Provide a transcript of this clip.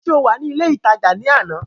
Ṣé o wà ní ilé ìtajà ní àná?